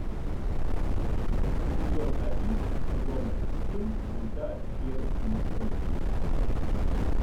эпизод один сезона семь мульта череп и кости